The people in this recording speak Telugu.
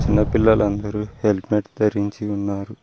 చిన్న పిల్లలు అందరూ హెల్మెట్ ధరించి ఉన్నారు.